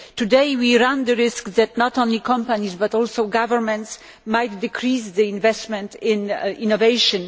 Today, we run the risk that, not only companies, but also governments might decrease investment in innovation.